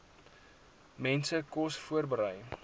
mense kos voorberei